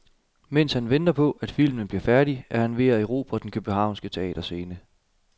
Mens han venter på, at filmen bliver færdig, er han ved at erobre den københavnske teaterscene.